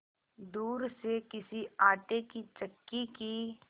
दूर से किसी आटे की चक्की की